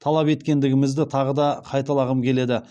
талап еткендігімізді тағы да қайталағым келеді